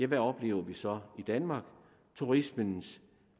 hvad oplever vi så i danmark turismens